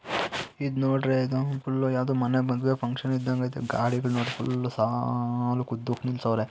ಇದು ನೋಡಿದ್ರೆ ಏನು ಫುಲ್ ಯಾವುದು ಮನೆ ಫಂಕ್ಷನ್ ಇದ್ದಂಗೆ ಐತೆ ಗಾಡಿಗಳು ಫುಲ್ಲು ಸಾಲಗಿ ಉದ್ದಕ್ಕೆ ನಿಲ್ಲಸೌರೆ .